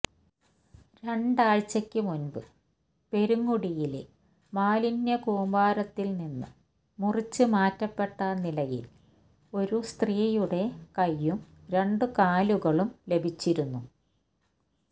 രണ്ടാഴ്ചക്ക് മുൻപ് പെരുങ്ങുടിയിലെ മാലിന്യ കൂമ്പാരത്തിൽ നിന്ന് മുറിച്ച് മാറ്റപ്പെട്ട നിലയിൽ ഒരു സ്ത്രീയുടെ കൈയ്യും രണ്ട് കാലുകളും ലഭിച്ചിരുന്നു